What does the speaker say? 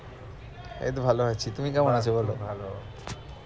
এই তো ভালো আছি তুমি কেমন আছো বলো